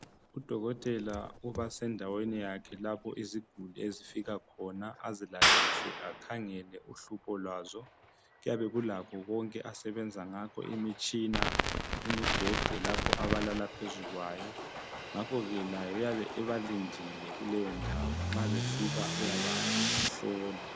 Udokotela ubasendaweni yakhe lapho iziguli ezifika khona azilalise akhangele uhlupho lwazo kuyabe kulakho konke asebenza ngakho imitshina, imibheda elapho abalala phezulu kwayo ngakhoke laye uyabe ebalindile kuleyo ndawo nxa befika uyabahlola